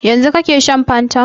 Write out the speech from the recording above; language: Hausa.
Yanzu kake shan fantan?